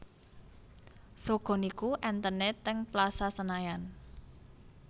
Sogo niku enten e teng Plaza Senayan